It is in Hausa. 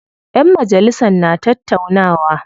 Ƴan majalisan na tattaunawa.